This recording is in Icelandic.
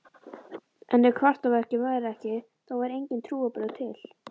En ef kraftaverkin væru ekki, þá væru engin trúarbrögð til.